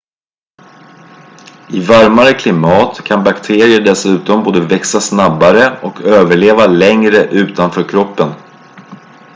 i varmare klimat kan bakterier dessutom både växa snabbare och överleva längre utanför kroppen